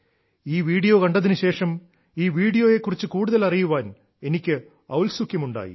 ഈ വീഡിയോ കണ്ടതിനുശേഷം ഈ വീഡിയോയെ കുറിച്ച് കൂടുതൽ അറിയാൻ എനിക്ക് ഔത്സുക്യം ഉണ്ടായി